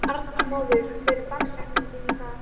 Arnmóður, hver er dagsetningin í dag?